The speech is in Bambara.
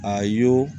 A y'o